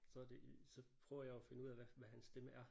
Så er det i så prøver jeg jo at finde ud af hvad hvad hans stemme er